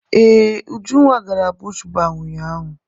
Ee, Ujunwa gara bush baa ụnyaahụ.